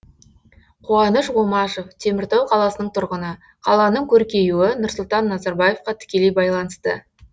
қуаныш омашев теміртау қаласының тұрғыны қаланың көркеюі нұрсұлтан назарбаевқа тікелей байланысты